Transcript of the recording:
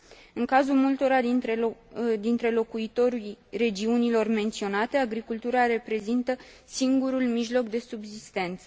În cazul multora dintre locuitorii regiunilor menționate, agricultura reprezintă singurul mijloc de subzistență.